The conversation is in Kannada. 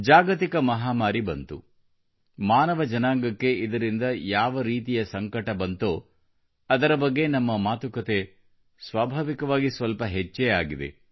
ಜಾಗತಿಕ ಮಹಾಮಾರಿ ಬಂತು ಮಾನವ ಜನಾಂಗಕ್ಕೆ ಇದರಿಂದ ಯಾವ ರೀತಿಯ ಸಂಕಟ ಬಂತೋ ಅದರ ಬಗ್ಗೆ ನಮ್ಮ ಮಾತುಕತೆ ಸ್ವಾಭಾವಿಕವಾಗಿ ಸ್ವಲ್ಪ ಹೆಚ್ಚೇ ಆಗಿದೆ